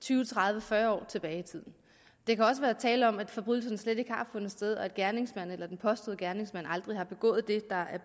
tyve tredive fyrre år tilbage i tiden der kan også være tale om at forbrydelsen slet ikke har fundet sted og at gerningsmanden eller den påståede gerningsmand aldrig har begået det